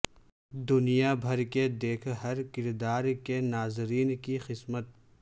دنیا بھر کے دیکھ ہر کردار کے ناظرین کی قسمت